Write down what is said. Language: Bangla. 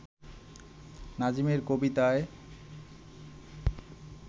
নাজিমের কবিতায়